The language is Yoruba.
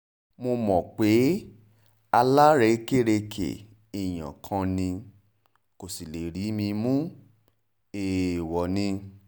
mo mọ̀ pé alárèékérekè èèyàn kan ni kò sì lè rí mi mú èèwọ̀ ni